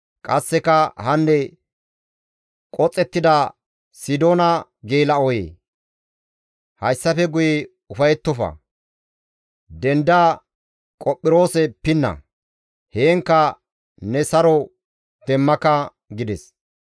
Qasseka, «Hanne qoxettida Sidoona geela7oyee! Hayssafe guye ufayettofa; denda Qophiroose pinna; heenkka ne saro demmaka» gides.